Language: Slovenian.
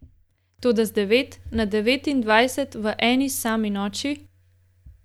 Toda z devet na devetindvajset v eni sami noči ...